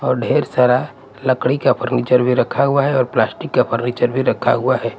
और ढेर सारा लकड़ी का फर्नीचर भी रखा हुआ है और प्लास्टिक का फर्नीचर भी रखा हुआ है।